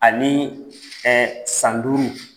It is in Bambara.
Ani ɛɛ san duuru.